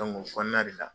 o kɔnɔna de la